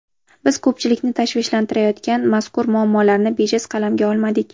Biz ko‘pchilikni tashvishlantirayotgan mazkur muammolarni bejiz qalamga olmadik.